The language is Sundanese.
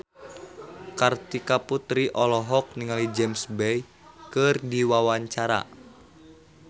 Kartika Putri olohok ningali James Bay keur diwawancara